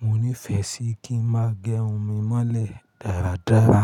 Mo nífẹẹ sí kí n má gẹ irun mi mọ́lẹ̀ dáradára.